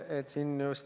Vaat kui kena!